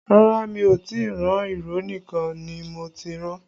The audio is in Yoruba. Rárá mi ò tí ì ran, ìró nìkan ni mo ti rán